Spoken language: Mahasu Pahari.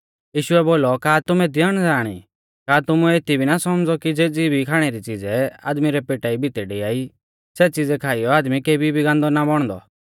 यीशुऐ बोलौ का तुमै एती अणज़ाण ई का तुमुऐ एती भी ना सौमझ़ौ कि ज़ेज़ी भी खाणै री च़ीज़ै आदमी रै पेटा भितै डियाई सेज़ी च़ीज़ै खाइयौ आदमी केभी भी गान्दौ ना बौणदौ